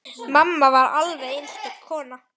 Mamma var alveg einstök kona.